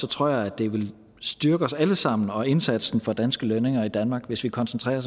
tror jeg at det ville styrke os alle sammen og indsatsen for danske lønninger i danmark hvis vi koncentrerede